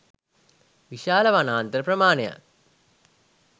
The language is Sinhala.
විශාල වනාන්තර ප්‍රමාණයක්